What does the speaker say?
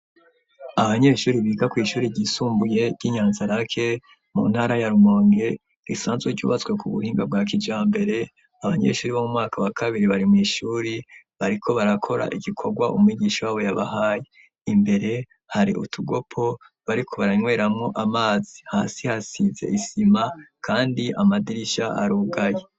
Abanyeshuri biga kw'ishuri ryisumbuye ry'i Nyanza lake mu ntara ya Rumonge, risanzwe ryubatswe ku buhinga bwa kijambere, abanyeshuri bo mu mwaka wa kabiri, bari mw'ishuri bariko barakora igikorwa umwigisha w'abo yabahaye. Imbere, hari utugopo bariko baranyweramwo amazi. Hasi hasize isima kandi amadirisha arugaye.